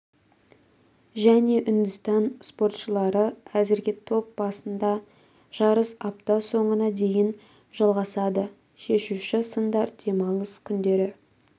және үндістан спортшылары әзірге топ басында жарыс апта соңына дейін жалғасады шешуші сындар демалыс күндері